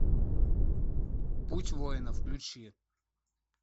путь воина включи